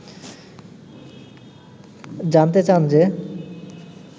জানতে চান যে